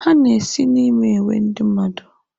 Ha na-esi n'me ewe ndi nmadụ?